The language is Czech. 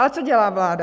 Ale co dělá vláda?